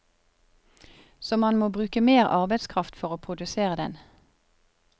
Så man må bruke mer arbeidskraft for å produsere den.